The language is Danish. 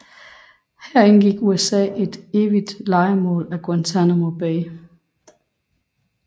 Her igennem indgik USA et evigt lejemål af Guantanamo Bay